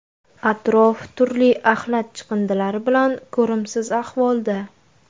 Atrof turli axlat chiqindilari bilan ko‘rimsiz ahvolda.